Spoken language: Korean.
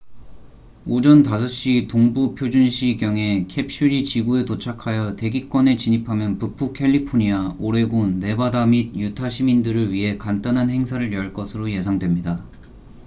오전 5시동부 표준시 경에 캡슐이 지구에 도착하여 대기권에 진입하면 북부 캘리포니아 오레곤 네바다 및 유타 시민들을 위해 간단한 행사를 열 것으로 예상됩니다